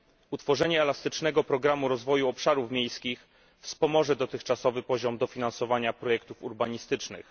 Utworzenie elastycznego programu rozwoju obszarów miejskich wspomoże dotychczasowy poziom dofinansowania projektów urbanistycznych.